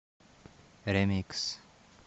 ремикс